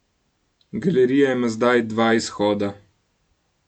Galerija ima zdaj dva izhoda.